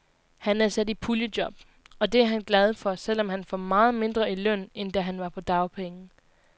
Han er sat i puljejob, og det er han glad for, selv om han får meget mindre i løn end da han var på dagpenge.